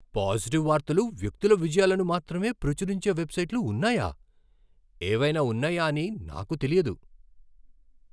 Positive వార్తలు, వ్యక్తుల విజయాలను మాత్రమే ప్రచురించే వెబ్సైట్లు ఉన్నాయా? ఏవైనా ఉన్నాయా అని నాకు తెలియదు.